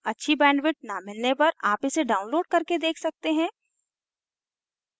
अच्छी bandwidth न मिलने पर आप इसे download करके देख सकते हैं